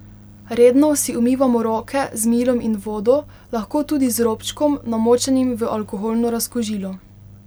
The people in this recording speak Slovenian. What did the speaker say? Redno si umivamo roke z milom in vodo, lahko tudi z robčkom, namočenim v alkoholno razkužilo.